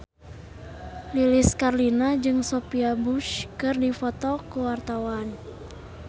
Lilis Karlina jeung Sophia Bush keur dipoto ku wartawan